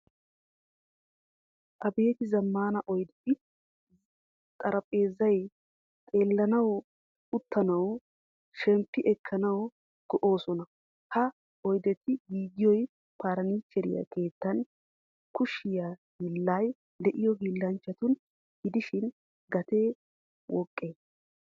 Abeti zamaana oydeti, xaraphphezzay xeelanawu, uttanawu, shemppi ekkanawu, go"osona. Ha oydetti giigiyoy furnichcheere keettan kushiya hillay deiyo hiilanchchatuna gidishin, gatee woqqe?